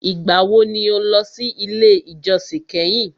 Ìgbà wo ni o lọ sí ilé ìjósìn kẹ́hìn?